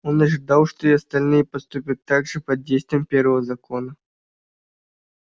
он ожидал что и остальные поступят так же под действием первого закона